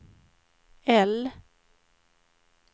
L